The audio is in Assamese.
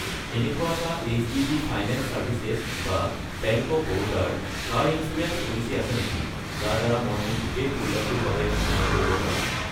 এনেকুৱা এটা এইচ.ডি.বি. ফাইনেন্স চাৰ্ভিচেছ বা বেংক অৱ বৰোদা ৰ কাৰ ইঞ্চুৰেঞ্চ পলিচী আছে নেকি যাৰ দ্বাৰা মই মোৰ গোটেই পৰিয়ালটোৰ বাবে বীমা কৰিব পাৰোঁ?